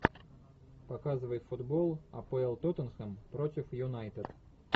показывай футбол апл тоттенхэм против юнайтед